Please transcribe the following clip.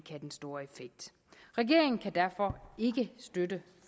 have den store effekt regeringen kan derfor ikke støtte